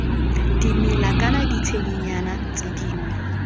dimela kana ditshedinyana tse dingwe